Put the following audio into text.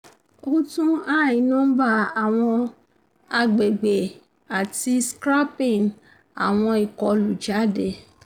o tun i nomba awọn agbegbe ati scraping awọn ikolu jade